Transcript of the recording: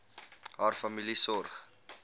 haar familie sorg